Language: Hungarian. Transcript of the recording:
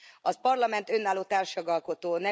A Parlament önálló társjogalkotó.